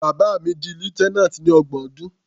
Bàbá mi di lieutenant ní ọgbọ̀n ọdún.